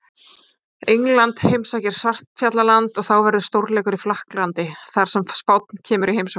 England heimsækir Svartfjallaland og þá verður stórleikur í Frakklandi þar sem Spánn kemur í heimsókn.